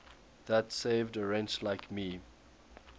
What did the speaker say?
that saved a wretch like me